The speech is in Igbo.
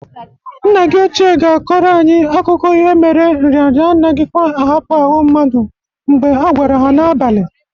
Nna gi ochie ga-akọrọ anyị akụkụ ihe mere nrịanrịa anaghikwa ahapụ ahụ mmadụ mgbe agwara ha n'abalị.